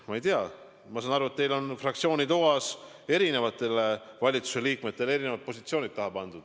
Ma ei tea, ma saan aru, et teil on fraktsiooni toas eri valitsuse liikmetele erinevad positsioonid taha pandud.